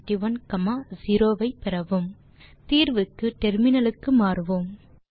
ல்ட்பாசெக்ட் தீர்வுக்கு டெர்மினலுக்கு மாறுவோம்